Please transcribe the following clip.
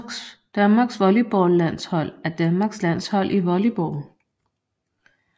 Danmarks volleyballlandshold er Danmarks landshold i volleyball